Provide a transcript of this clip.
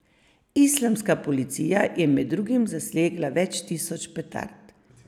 Islamska policija je med drugim zasegla več tisoč petard.